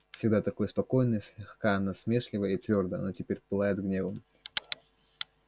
всегда такое спокойное слегка насмешливое и твёрдое оно теперь пылает гневом